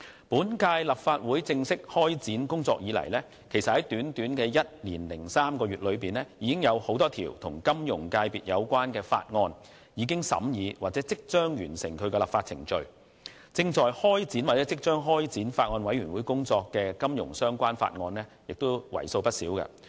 本屆立法會正式開展工作以來，在短短的一年零三個月，多項與金融界別有關的法案已完成審議或即將完成立法程序；亦有多項金融相關法案正在或即將交由法案委員會審議。